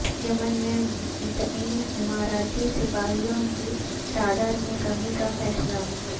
یمن میں متعین اماراتی سپاہیوں کی تعداد میں کمی کا فیصلہ